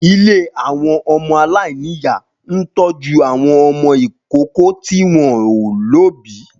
Ilé àwọn ọmọ aláìníyà ń tọ́jú àwọn ọmọ ìkókó tí wọ́n ò lóbìí